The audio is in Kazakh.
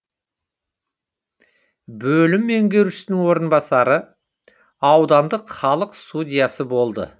бөлім меңгерушісінің орынбасары аудандық халық судьясы болды